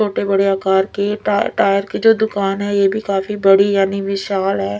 छोटे बड़े आकर की टा टायर की जो दुकान है ये भी काफी बड़ी यानी मिशाल है।